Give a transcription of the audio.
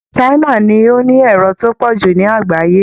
China ni ó ní èrò tó pọ̀ jù ní àgbáyé